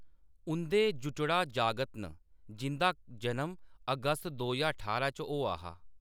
उंʼदे जुटड़ा जागत न जिंʼदा जन्म अगस्त दो ज्हार ठारां च होआ हा।